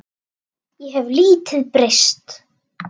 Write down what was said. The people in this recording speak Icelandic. Ég hef lítið breyst.